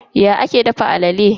Ya ake dafa alala?